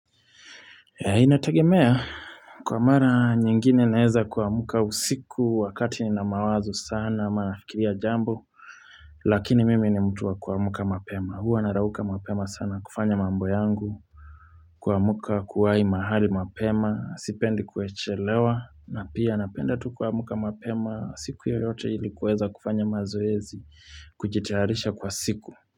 Inategemea, kwa mara nyingine naeza kwa muka usiku wakati na mawazo sana, maafikiria jambo, lakini mimi nimutua kwa muka mapema. Huwa narauka mapema sana kufanya mambo yangu, kwa muka kuwai mahali mapema, sipendi kuechelewa, na pia napenda tu kwa muka mapema siku ya yote ilikuweza kufanya mazoezi kujitarisha kwa siku.